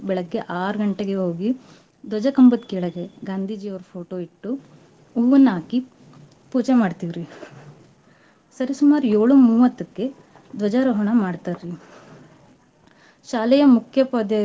ಬೇಳಗ್ಗೆ ಆರ್ ಗಂಟೆಗೇ ಹೋಗಿ ದ್ವಜ ಕಂಬದ್ ಕೆಳ್ಗೇ ಗಾಂಧೀಜಿ ಅವ್ರ photo ಇಟ್ಟು ಹೂವನ್ನಾಕೀ ಪೂಜೆ ಮಾಡ್ತೀವ್ರೀ. ಸರಿ ಸುಮಾರು ಏಳು ಮೂವತ್ತಕ್ಕೆ ದ್ವಜಾರೋಹಣ ಮಾಡ್ತಾರೀ ಶಾಲೆಯ ಮುಖ್ಯೋಪಾದ್ಯಾಯರು.